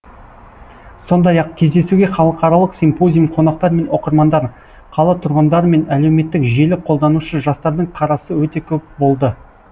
сондай ақ кездесуге халықаралық симпозиум қонақтар мен оқырмандар қала тұрғындары мен әлеуметтік желі қолданушы жастардың қарасы өте көп болды